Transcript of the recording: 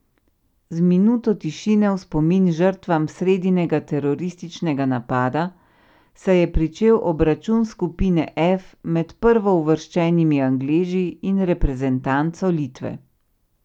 Z minuto tišine v spomin žrtvam sredinega terorističnega napada se je pričel obračun skupine F med prvo uvrščenimi Angleži in reprezentanco Litve.